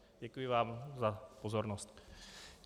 Děkuji vám za pozornost.